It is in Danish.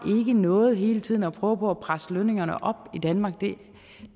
noget hele tiden at prøve på at presse lønningerne op i danmark